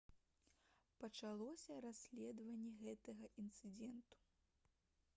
пачалося расследаванне гэтага інцыдэнту